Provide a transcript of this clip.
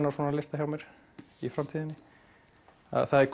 á svona lista hjá mér í framtíðinni það er